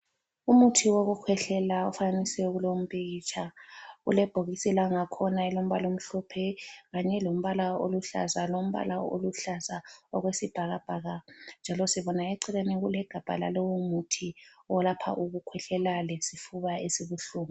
Umuthi wokukhwehlela ufanekisiwe kulowumpikitsha ulebhokisi langakhona elilombala omhlophe kanye lombala oluhlaza lombala oluhlaza okwesibhakabhaka njalo sibona eceleni kulegabha lalowomuthi olapha ukukhwehlela lesifuba esibuhlungu.